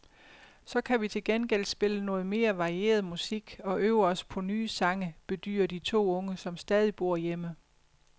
Så kan vi til gengæld spille noget mere varieret musik og øve os på nye sange, bedyrer de to unge, som stadig bor hjemme.